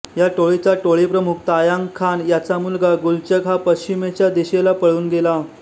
या टोळीचा टोळीप्रमुख तायांग खान याचा मुलगा गुलचग हा पश्चिमेच्या दिशेने पळून गेला